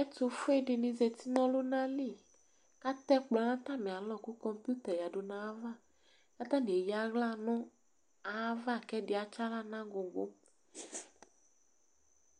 Ɛtʋfue dini zǝti nʋ ɔlʋna li Atɛ ɛkplɔ nʋ atami alɔ kʋ kɔmpiuta yǝdu nʋ ayava, kʋ atani eyǝ aɣla nʋ ayava, kʋ ɛdɩ atsaɣla nʋ agugu